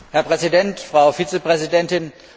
Herr Präsident, Frau Vizepräsidentin!